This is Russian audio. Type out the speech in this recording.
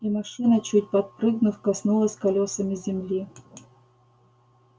и машина чуть подпрыгнув коснулась колёсами земли